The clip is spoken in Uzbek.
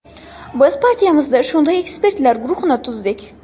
Biz partiyamizda shunday ekspertlar guruhini tuzdik.